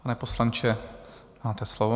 Pane poslanče, máte slovo.